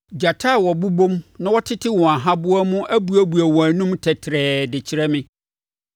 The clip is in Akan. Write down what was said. Gyata a wɔbobom na wɔtete wɔn ahaboa mu abuebue wɔn anom tɛtrɛɛ de kyerɛ me.